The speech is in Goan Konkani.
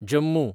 जम्मू